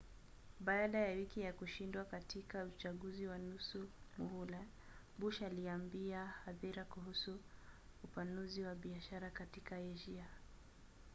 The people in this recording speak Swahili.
baada ya wiki ya kushindwa katika uchaguzi wa nusu muhula bush aliambia hadhira kuhusu upanuzi wa biashara katika asia